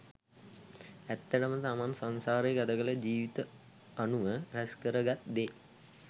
ඇත්තටම තමන් සංසාරේ ගතකළ ජීවිත අනුව රැස් කර ගත් දේ